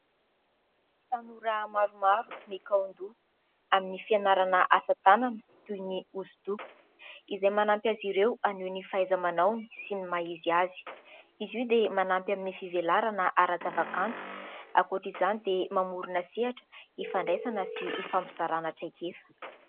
Tanora maromaro mikaondo amin'ny fianarana asa tanana toy ny osodoko, izay manampy azy ireo hanoy ny fahaiza-manahony sy ny mahizy azy izy hoa dia manampy amin'ny fivelarana ara-zava-kanto ankoatra izany dia mamorona sehatra hifandraisana sy hifampizarana traikefa.